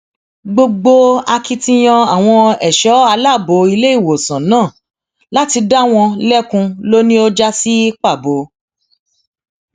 gbogbo akitiyan àwọn ẹṣọ aláàbọ iléìwòsàn náà láti dá wọn lẹkun ló ní ó já sí pàbó